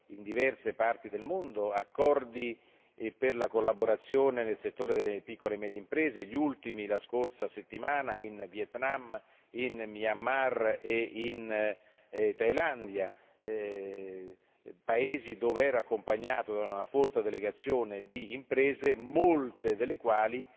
in diverse parti del mondo, accordi per la collaborazione nel settore delle piccole e medie imprese gli ultimi la scorsa settimana in Vietnam, Myanmar e Thailandia paesi dove ero accompagnato da una folta delegazione di imprese, molte delle quali